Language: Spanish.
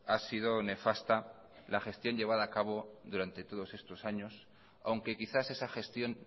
ha sido nefasta la gestión llevada a cabo durante todos estos años aunque quizás esa gestión